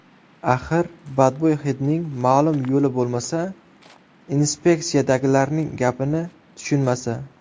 Axir, badbo‘y hidning ma’lum yo‘li bo‘lmasa, inspeksiyadagilarning gapini tushunmasa!?